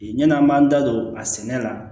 Yann'an b'an da don a sɛnɛ la